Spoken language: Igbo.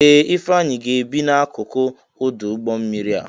Ee! Ifeanyi ga-ebi n'akụkụ ọdụ ụgbọ mmiri a.